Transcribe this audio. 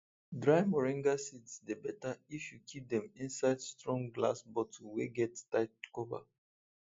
dry moringa seeds dey better if you keep dem inside strong glass bottle wey get tight cover